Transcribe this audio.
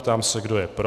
Ptám se, kdo je pro.